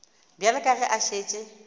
bjale ka ge a šetše